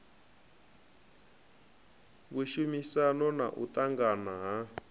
vhushumisani na u ṱangana ha